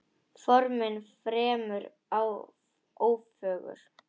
Formin fremur ófögur.